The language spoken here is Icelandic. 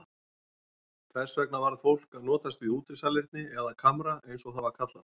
Þess vegna varð fólk að notast við útisalerni eða kamra eins og það var kallað.